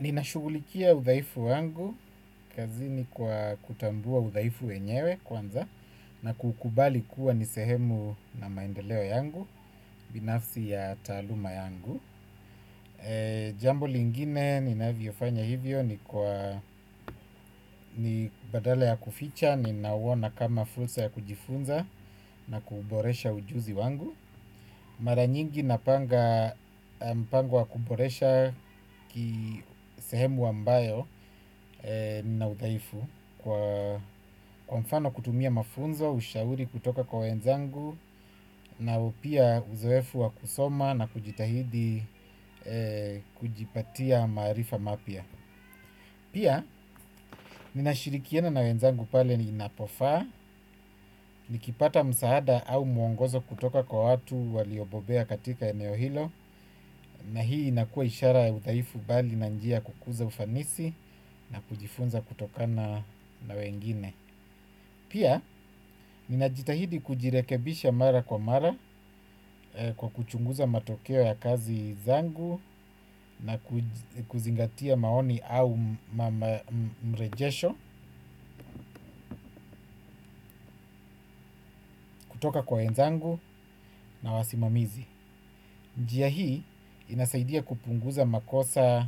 Ninashugulikia udhaifu wangu kazini kwa kutambua udhaifu wenyewe kwanza na kukubali kuwa ni sehemu na maendeleo yangu, binafsi ya taaluma yangu. Jambo lingine ninavyofanya hivyo ni badala ya kuficha, ninauona na kama fursa ya kujifunza na kuboresha ujuzi wangu. Mara nyingi napanga mpango wa kuboresha sehemu ambayo nina udhaifu kwa mfano kutumia mafunzo, ushauri kutoka kwa wenzangu na pia uzoefu wa kusoma na kujitahidi kujipatia maarifa mapya pia, ninashirikiana na wenzangu pale ninapofaa nikipata msaada au mwongozo kutoka kwa watu waliobobea katika eneo hilo na hii inakuwa ishara udhaifu bali na njia kukuza ufanisi na kujifunza kutokana na wengine. Pia, ninajitahidi kujirekebisha mara kwa mara kwa kuchunguza matokeo ya kazi zangu na kuzingatia maoni au mrejesho kutoka kwa wenzangu na wasimamizi njia hii inasaidia kupunguza makosa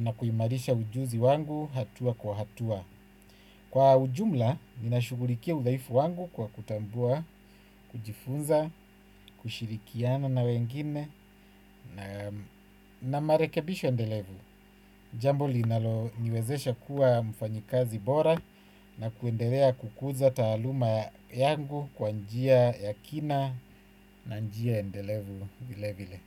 na kuimarisha ujuzi wangu hatua kwa hatua. Kwa ujumla, ninashughulikia udhaifu wangu kwa kutambua, kujifunza, kushirikiana na wengine na marekebisho endelevu. Jambo linaloniwezesha kuwa mfanyikazi bora na kuendelea kukuza taaluma yangu kwa njia ya kina na njia endelevu vile vile.